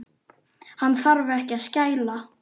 Hún þarf ekki að skæla.